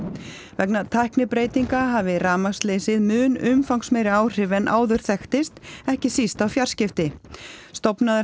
vegna tæknibreytinga hafi rafmagnsleysið mun umfangsmeiri áhrif en áður þekktist ekki síst á fjarskipti stofnaður